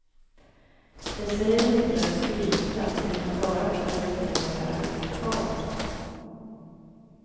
Jag säger det inte för att skryta, utan bara för att visa dig vad jag är för en karl.